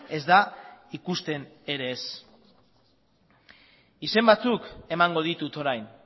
ez da ikusten ere ez izen batzuk emango ditut orain